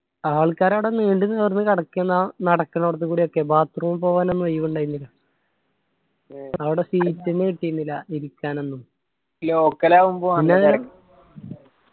ആൾക്കാർ അവട നീണ്ട് നിവർന്ന് കടക്കേന്ന് ആ നടക്കണേടത്തകൂടിയൊക്കെ bathroom പോകാൻ ഒന്നു ഒയിവിണ്ടായിരിന്നില്ല അവിടെ seat എന്നെ കിട്ടിയിരിന്നില്ല ഇരിക്കാനൊന്നും. പിന്നെ.